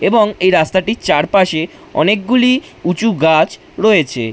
এবং এই রাস্তাটি চারপাশে অনেকগুলি উঁচু গাছ রয়েছে।